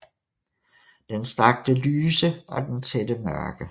Den strakte lyse og den tætte mørke